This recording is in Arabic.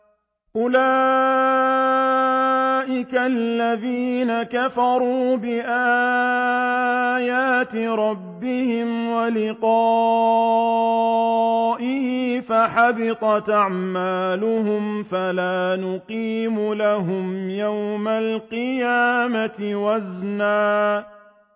أُولَٰئِكَ الَّذِينَ كَفَرُوا بِآيَاتِ رَبِّهِمْ وَلِقَائِهِ فَحَبِطَتْ أَعْمَالُهُمْ فَلَا نُقِيمُ لَهُمْ يَوْمَ الْقِيَامَةِ وَزْنًا